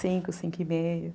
Cinco, cinco e meio.